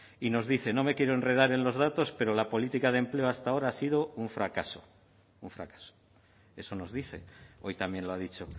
y nos dice no me quiero enredar en los datos pero la política de empleo hasta ahora ha sido un fracaso un fracaso eso nos dice hoy también lo ha dicho